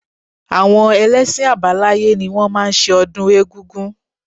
Àwọn ẹlẹ́ṣin àbáláyé ni wọ́n máa ń ṣe ọdún egungun